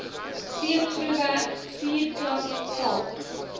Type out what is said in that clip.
steengroefwerk vuurklap kalk